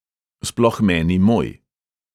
Sploh meni moj.